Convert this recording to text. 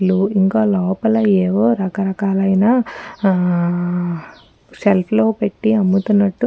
లు ఇంకలోపల ఏవో రకరకాలైన ఆఆ షెల్ఫ్ లో పెటి అమ్ముతునటు --